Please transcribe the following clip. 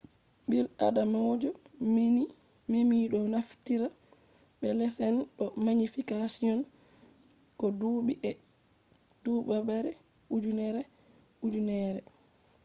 bil adamajo nemi ɗo naftira be lenses do magnification ko duɓi e duɓare ujineere ujineere